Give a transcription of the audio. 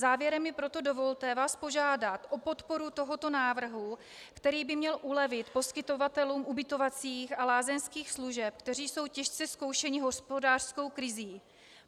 Závěrem mi proto dovolte vás požádat o podporu tohoto návrhu, který by měl ulevit poskytovatelům ubytovacích a lázeňských služeb, kteří jsou těžce zkoušeni hospodářskou krizí.